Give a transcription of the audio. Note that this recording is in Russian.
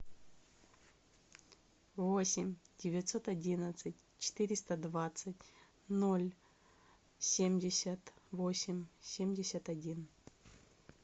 восемь девятьсот одиннадцать четыреста двадцать ноль семьдесят восемь семьдесят один